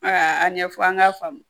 Aa a ɲɛfɔ an k'a faamu